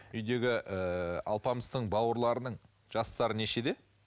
үйдегі ыыы алпамыстың бауырларының жастары нешеде